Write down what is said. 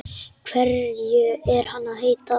Hverju er hann að heita?